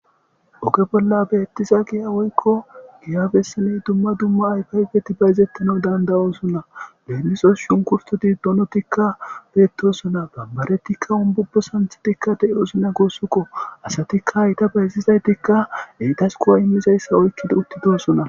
Oge bola betiza giya woyikko giya misiley dumma dumma ayifa ayifeti bayzetanas dandayosona lemissos shunkurtoti donotikka betosona bambaretikka umbubo sanththetikka de'osonna gusukko asatikka hayta bayzizaytkka entas go'a imizayissa oykiddi utidossona